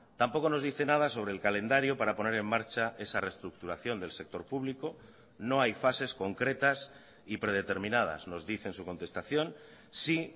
tampoco nos dice nada sobre el calendario para poner en marcha esa reestructuración del sector público no hay fases concretas y predeterminadas nos dice en su contestación sí